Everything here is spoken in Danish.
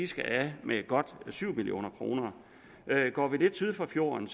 skal af med godt syv million kroner går vi lidt syd for fjorden